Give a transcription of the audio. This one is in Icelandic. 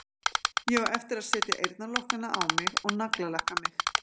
Ég á eftir að setja eyrnalokkana á mig og naglalakka mig.